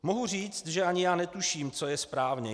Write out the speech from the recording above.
Mohu říci, že ani já netuším, co je správně.